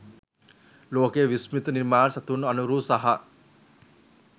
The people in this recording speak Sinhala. ලෝකයේ විශ්මිත නිර්මාණ සතුන් අනුරූ සහ